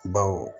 Baw